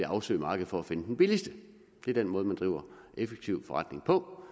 afsøge markedet for at finde den billigste det er den måde man driver effektiv forretning på